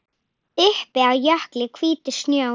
Uppi á jökli hvítur snjór.